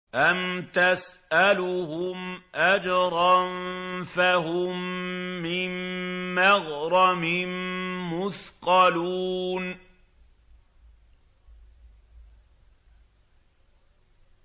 أَمْ تَسْأَلُهُمْ أَجْرًا فَهُم مِّن مَّغْرَمٍ مُّثْقَلُونَ